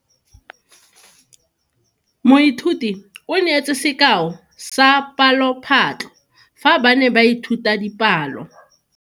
Moithuti o neetse sekao sa palophatlo fa ba ne ba ithuta dipalo.